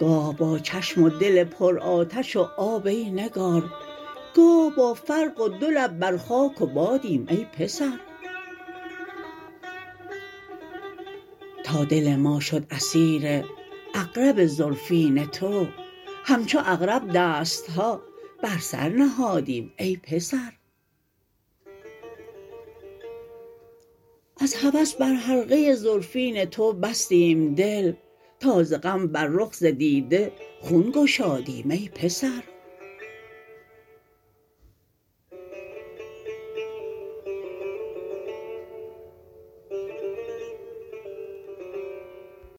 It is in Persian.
گاه با چشم و دل پر آتش و آب ای نگار گاه با فرق و دو لب بر خاک و بادیم ای پسر تا دل ما شد اسیر عقرب زلفین تو همچو عقرب دست ها بر سر نهادیم ای پسر از هوس بر حلقه زلفین تو بستیم دل تا ز غم بر رخ ز دیده خون گشادیم ای پسر